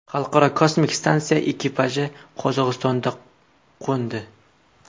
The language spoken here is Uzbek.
Xalqaro kosmik stansiya ekipaji Qozog‘istonda qo‘ndi.